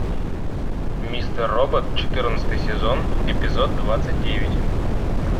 мистер робот четырнадцатый сезон эпизод двадцать девять